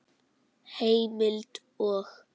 Heimild og